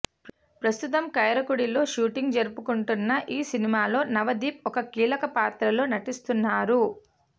ప్రస్తుతం కరైకుడిలో షూటింగ్ జరుపుకుంటోన్న ఈ సినిమాలో నవదీప్ ఓ కీలక పాత్రలో నటిస్తున్నారు